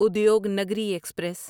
Udyognagari express